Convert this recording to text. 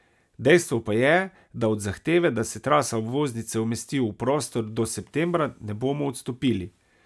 Dejstvo pa je, da od zahteve, da se trasa obvoznice umesti v prostor do septembra, ne bomo odstopili.